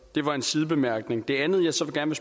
det var en sidebemærkning det andet jeg så gerne